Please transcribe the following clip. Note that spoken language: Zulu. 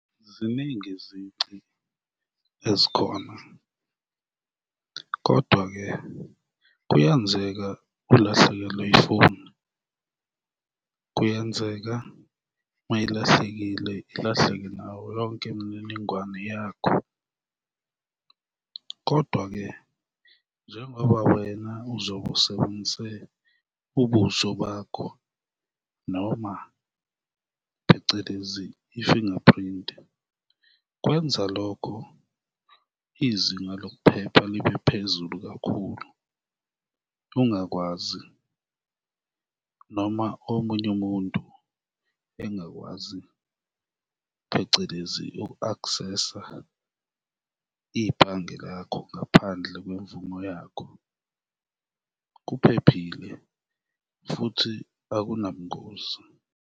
Ziningi izici ezikhona kodwa-ke kuyenzeka ulahlekelwe ifoni, kuyenzeka mayilahlekile ilahleke nawo yonke imininingwane yakho. Kodwa ke, njengoba wena uzobe usebenzise ubuso bakho, noma phecelezi i-fingerprint, kwenza lokho izinga lokuphepha libe phezulu kakhulu, ungakwazi noma omunye umuntu engakwazi phecelezi uku-aksesa ibhange lakho ngaphandle kwemvumo yakho, kuphephile futhi akunabungozi.